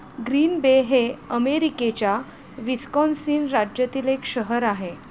Green Bay हे अमेरिकेच्या Wisconsin राज्यातील एक शहर आहे.